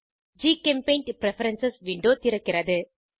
ஜிசெம்பெயிண்ட் preference window திறக்கிறது